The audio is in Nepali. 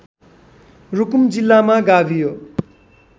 रुकुम जिल्लामा गाभियो